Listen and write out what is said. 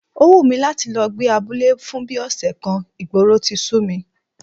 Ó wù mí láti lọ gbé abúlé fún bí ọ̀sẹ̀ kan, ìgboro ti sú mi